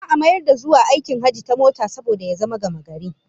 Za'a mayar da zuwa aikin hajji ta mota ya zama gamagari